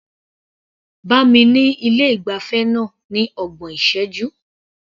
Bá mi ní ilé ìgbafẹ́ náà ní ọgbọ̀n ìṣẹ́jú.